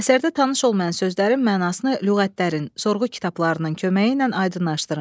Əsərdə tanış olmayan sözlərin mənasını lüğətlərin, sorğu kitablarının köməyi ilə aydınlaşdırın.